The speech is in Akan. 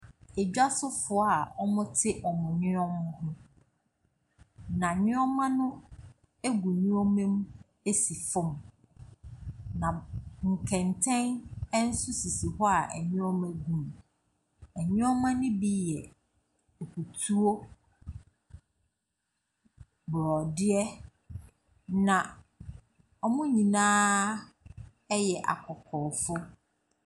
Dwasofoɔ a wɔte wɔn nneɛma ho. Na nneɛma no gu nneɛma mu si fam. Na\ b nkɛntɛn nso sisi hɔ nneɛma gu mu. Nneɛma no bi yɛ akutuo, borɔdeɛ. Na wɔn nyinaa yɛ akɔkɔɔfoɔ.